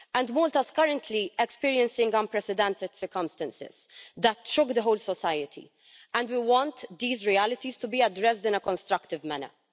Malta is currently experiencing unprecedented circumstances that shook the whole society, and we want these realities to be addressed in a constructive manner.